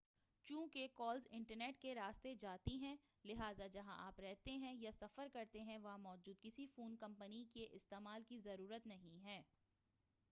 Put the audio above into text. چونکہ calls internet کے راستے جاتی ہیں لہٰذا جہاں آپ رہتے ہیں یا سفر کرتے ہیں وہاں موجود کسی فون کمپنی کے استعمال کی ضرورت نہیں ہے